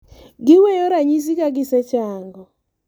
giweyo ranyisi ka gisechango